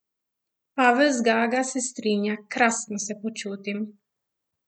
Pavel Zgaga se strinja: "Krasno se počutim.